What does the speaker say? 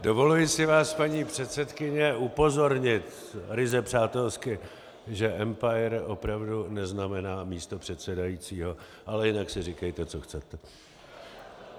Dovoluji si vás, paní předsedkyně, upozornit ryze přátelsky, že empir opravdu neznamená místo předsedajícího, ale jinak si říkejte, co chcete.